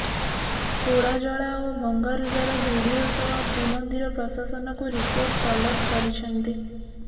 ପୋଡାଜଳା ଓ ଭଙ୍ଗାରୁଜାର ଭିଡିଓ ସହ ଶ୍ରୀମନ୍ଦିର ପ୍ରଶାସନକୁ ରିପୋର୍ଟ ତଲବ କରିଛନ୍ତି